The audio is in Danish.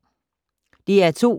DR2